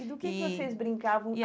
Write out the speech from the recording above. E e do que que vocês brincavam?